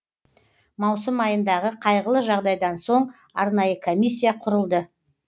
маусым айындағы қайғылы жағдайдан соң арнайы комиссия құрылды